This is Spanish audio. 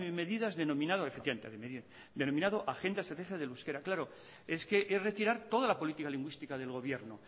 medidas denominado agenda estratégica del euskera claro es que es retirar toda la política lingüística del gobierno